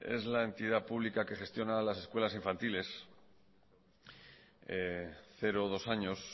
es la entidad pública que gestiona las escuelas infantiles cero dos años